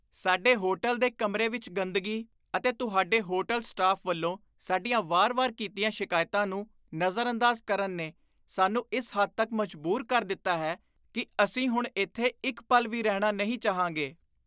ਸਾਡੇ ਹੋਟਲ ਦੇ ਕਮਰੇ ਵਿੱਚ ਗੰਦਗੀ ਅਤੇ ਤੁਹਾਡੇ ਹੋਟਲ ਸਟਾਫ ਵੱਲੋਂ ਸਾਡੀਆਂ ਵਾਰ ਵਾਰ ਕੀਤੀਆਂ ਸ਼ਿਕਾਇਤਾਂ ਨੂੰ ਨਜ਼ਰਅੰਦਾਜ਼ ਕਰਨ ਨੇ ਸਾਨੂੰ ਇਸ ਹੱਦ ਤੱਕ ਮਜਬੂਰ ਕਰ ਦਿੱਤਾ ਹੈ ਕੀ ਅਸੀਂ ਹੁਣ ਇੱਥੇ ਇੱਕ ਪਲ ਵੀ ਰਹਿਣਾ ਨਹੀਂ ਚਾਹਾਂਗੇ